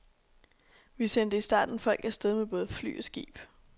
Vi sendte i starten folk afsted med både fly og skib.